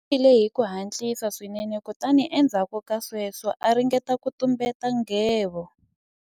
U nwile hi ku hatlisa swinene kutani endzhaku ka sweswo a ringeta ku tumbeta nghevo.